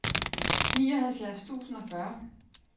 nioghalvfjerds tusind og fyrre